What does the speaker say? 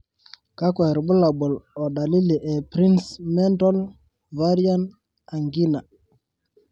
kakwa irbulabol o dalili e Prinzmental's variant angina?